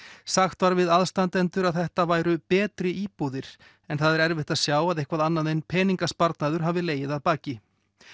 sagt var við aðstandendur að þetta væru betri íbúðir en það er erfitt að sjá að eitthvað annað en peningasparnaður hafi legið að baki